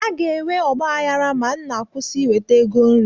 A ga-enwe ọgbaghara ma nna kwụsị iweta ego nri